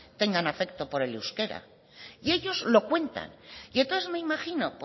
tengan afecto por el euskera y ellos lo cuentan y entonces me imagino